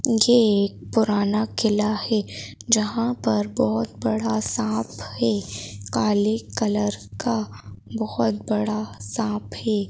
ये एक पुराना किला है जहां पर बहुत बड़ा सांप है काले कलर का बहुत बड़ा सांप है।